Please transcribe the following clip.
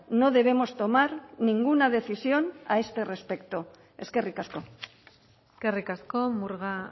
no debemos tomar ninguna decisión a este respecto eskerrik asko eskerrik asko murga